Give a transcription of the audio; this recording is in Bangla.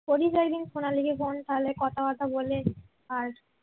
করিস একদিন সোনালীকে কোন কালে কথাবার্তা বলে আর